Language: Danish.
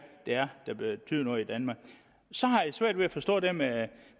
det er der betyder noget i danmark så har jeg svært ved at forstå det med